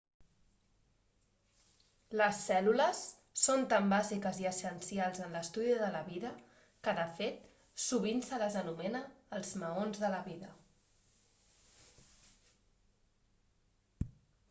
les cèl·lules són tan bàsiques i essencials en l'estudi de la vida que de fet sovint se les anomena els maons de la vida